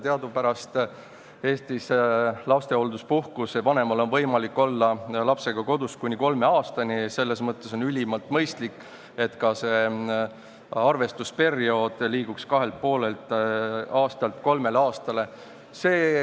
Teadupärast on vanemal võimalik Eestis olla lapsehoolduspuhkusel kodus kuni kolm aastat, selles mõttes on ülimalt mõistlik, et ka see arvestusperiood liiguks kahelt ja poolelt aastalt kolmele aastale.